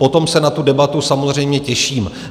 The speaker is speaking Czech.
Potom se na tu debatu samozřejmě těším.